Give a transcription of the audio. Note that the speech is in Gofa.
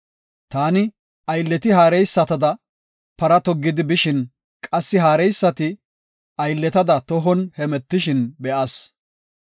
Taani aylleti haareysatada para toggidi bishin qassi haareysati aylletada tohon hemetishin be7as.